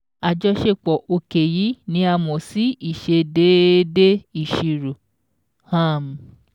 Àjọṣepọ̀ òkè yìí ni a mọ̀ sí 'Ìṣedéédé Ìṣirò'. um